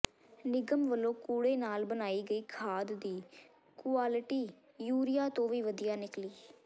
ਨਿਗਮ ਵੱਲੋਂ ਕੂੜੇ ਨਾਲ ਬਣਾਈ ਗਈ ਖਾਦ ਦੀ ਕੁਆਲਿਟੀ ਯੂਰੀਆ ਤੋਂ ਵੀ ਵਧੀਆ ਨਿਕਲੀ